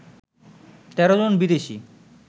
১৩ জন বিদেশী